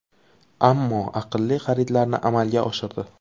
Ammo aqlli xaridlarni amalga oshirdi.